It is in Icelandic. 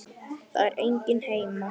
Það er enginn heima.